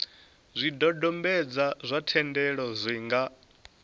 zwidodombedzwa zwa thendelo zwi nga